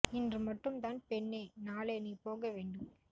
இன்று மட்டும் தான் பெண்ணே நாளை நீ போக வேண்டும்